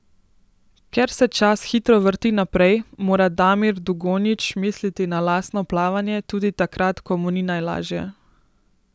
Ker se čas hitro vrti naprej, mora Damir Dugonjić misliti na lastno plavanje tudi takrat, ko mu ni najlažje.